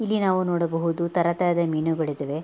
ಇಲ್ಲಿ ನಾವು ನೋಡಬಹುದು ತರತರದ ಮೀನುಗಳು ಇದಾವೆ.